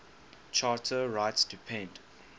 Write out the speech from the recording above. charter rights depend